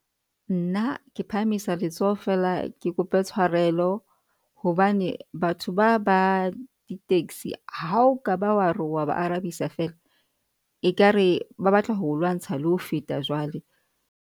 Nna ke phahamisa letsoho fela ke kope tshwarelo hobane batho ba ba di-taxi, ha o ka ba wa re wa ba arabisa fela ekare ba batla ho lwantsha le ho feta jwale.